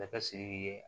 Masakɛ siriki ye